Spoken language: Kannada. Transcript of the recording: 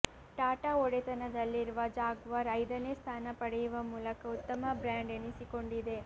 ಟಾಟಾ ಒಡೆತನದಲ್ಲಿರುವ ಜಾಗ್ವಾರ್ ಐದನೇ ಸ್ಥಾನ ಪಡೆಯುವ ಮೂಲಕ ಉತ್ತಮ ಬ್ರಾಂಡ್ ಎನಿಸಿಕೊಂಡಿದೆ